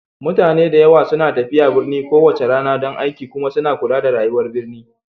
Mutane da yawa suna tafiya birni kowace rana don aiki kuma suna kula da rayuwar birni